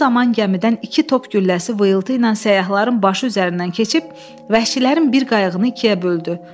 Bu zaman gəmidən iki top gülləsi vıyıltı ilə səyyahların başı üzərindən keçib vəhşilərin bir qayığını ikiyə böldü.